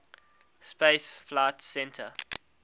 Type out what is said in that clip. space flight center